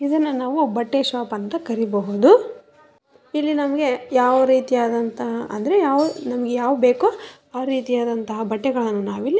ಇದನ್ನ ಬಟ್ಟೆ ಶೋಪ್ ಅಂತ ಕರೀಬಹುದು ಇಲ್ಲಿ ನಮ್ಗೆ ಯಾವ್ ರೀತಿಯಾದಂತಹ ಅಂದ್ರೆ ಯಾವ ನಮ್ಗೆ ಯಾವ್ ಬೇಕೊ ಆ ರೀತಿಯಾದಂತಹ ಬಟ್ಟೆಗಳನ್ನು ನಾವಿಲ್ಲಿ --